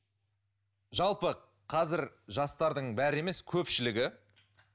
жалпы қазір жастардың бәрі емес көпшілігі